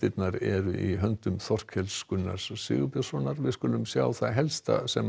eru í höndum Þorkels Gunnars Sigurbjörnssonar við skulum sjá það helsta sem